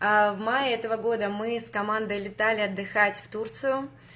аа в мае этого года мы командой летали отдыхать в турцию